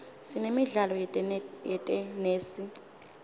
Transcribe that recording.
sinemidlalo yetenesi